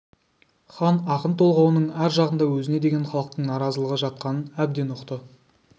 хан ақын толғауының ар жағында өзіне деген халықтың наразылығы жатқанын әбден ұқты